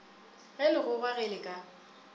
ge legogwa ge le ka